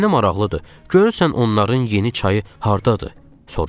"Mənə maraqlıdır, görürsən onların yeni çayı hardadır?"